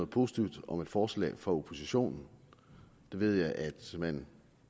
positivt om et forslag fra oppositionen det ved jeg at man